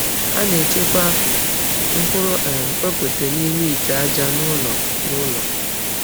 A na-echekwa mkpụrụ um okpete n’ime ite aja n’ụlọ. n’ụlọ.